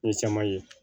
N ye caman ye